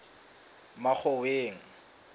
makgoweng